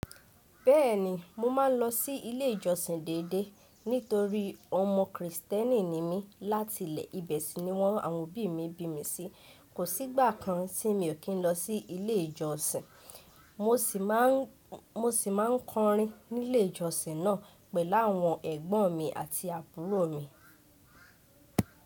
Bẹ́ẹ̀ni, mo máa ń lọ sí ilé ìjọsìn déédéé. Nítorí ọmọ Krìstẹ́nì ni mí láti ilẹ̀, ibẹ̀ sì ni wọ́n àwọn òbí mi bí mi sí. Kò sí ìgbà kan tí mi ò kín lọ sí ilé ìjọsìn, mo sì máa ń kọrin nílé ìjọsìn náà pẹ̀lú àwọn ẹ̀gbọ́n mi àti àbúrò mi.